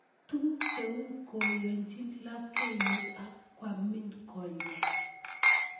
Tuguk cheu koyochin lapkeyet ak kwamin konyek